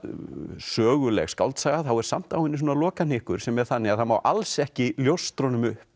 söguleg skáldsaga þá er samt á henni svona lokahnykkur sem er þannig að það má alls ekki ljóstra honum upp